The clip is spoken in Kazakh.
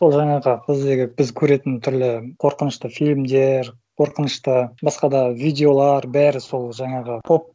сол жаңағы біздегі біз көретін түрлі қорқынышты фильмдер қорқынышты басқа да видеолар бәрі сол жаңағы